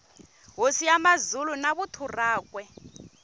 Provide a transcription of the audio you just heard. hosi ya mazulu na vuthu rakwe